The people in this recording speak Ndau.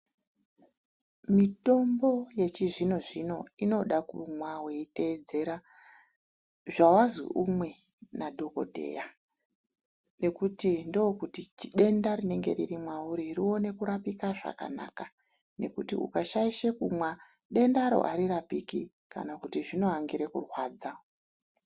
Mitombo yechizvino zvino inoda kumwa weitedzera zvawazi umwe nadhokodheya. Ngekuti ndokuti denda rinenge riri mwauri rione kurapika zvakanaka ,ngekuti ukashaisha kumwa dendaro arirapiki kana kuti zvino angire kurwadza.